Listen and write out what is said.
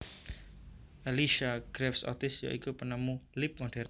Elisha Graves Otis ya iku penemu lip modern